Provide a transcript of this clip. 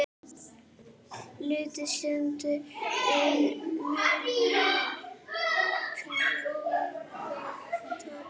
Litaðir steinar munu prýða torgið.